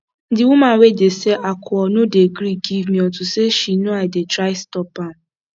the woman wey dey sell alcohol no dey gree give me unto say she no i dey try stop am